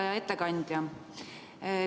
Hea ettekandja!